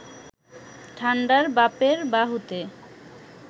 ঠান্ডার বাপের বাহুতে